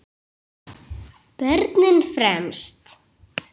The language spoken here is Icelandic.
Börnin fremst.